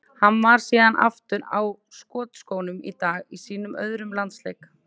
Hann var síðan aftur á skotskónum í dag í sínum öðrum landsleik.